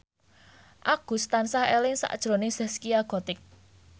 Agus tansah eling sakjroning Zaskia Gotik